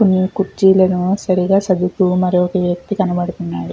కొన్ని కుర్చీలను సరిగా సర్దుతూన్న ఒక వ్యక్తి కనబడుతున్నాడు.